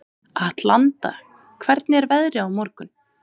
Atlanta, hvernig er veðrið á morgun?